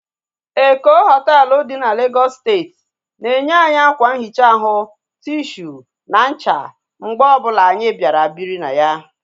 Eko hoteelu dị n'Legọsụ steeti na enye anyị akwa nhicha ahu, tishu na ncha mgbe ọbụla anyị bịara biri na ya